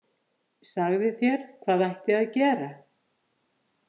Sagði þér hvað ætti að gera.